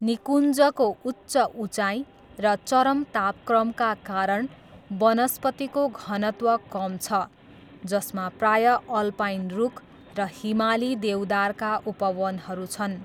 निकुञ्जको उच्च उचाइ र चरम तापक्रमका कारण, वनस्पतिको घनत्व कम छ, जसमा प्रायः अल्पाइन रुख र हिमाली देवदारका उपवनहरू छन्।